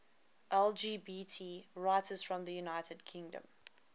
lgbt writers from the united kingdom